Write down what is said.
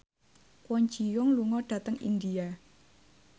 Kwon Ji Yong lunga dhateng India